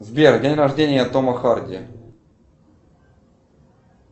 сбер день рождения тома харди